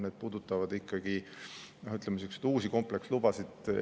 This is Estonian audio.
Need puudutavad ikkagi uusi komplekslubasid.